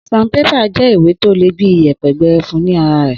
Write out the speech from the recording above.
sanpépà jẹ ìwé tọ le bíi ìyẹpẹ gbẹrẹfú ní ara rè